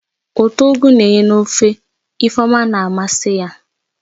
Ụtọ ugu n'enye ofe Ifeoma na-amasị ya